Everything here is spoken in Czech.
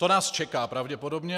To nás čeká pravděpodobně.